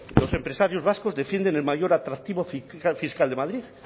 los empresarios vascos defienden el mayor atractivo fiscal de madrid